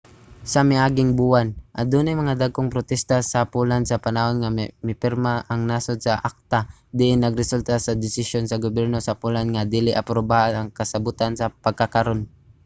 sa miaging buwan adunay mga dagkong protesta sa poland sa panahon nga mipirma ang nasod sa acta diin nagresulta sa desisyon sa gobyerno sa poland nga dili aprubahan ang kasabutan sa pagkakaron